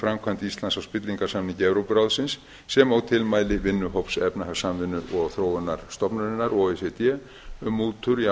framkvæmd íslands á spillingarsamningi evrópuráðsins sem og tilmæli vinnuhóps efnahagssamvinnu og þróunarstofnunarinnar o e c d um mútur í